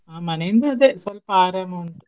ಆ ಮನೆ ಇಂದ ಅದೆ ಸ್ವಲ್ಪ ಆರಂ ಉಂಟು.